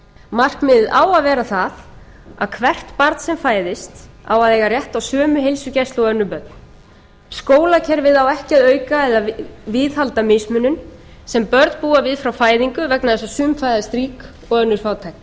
markmiðið á að vera það að hvert barn sem fæðist á að eiga rétt á sömu heilsugæslu og önnur börn skólakerfið á ekki að auka eða viðhalda mismunun sem börn búa við frá fæðingu vegna þess að sum fæðast rík og önnur fátæk við